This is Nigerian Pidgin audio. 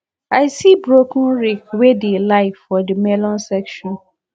i see broken rake wey dey lie for the melon section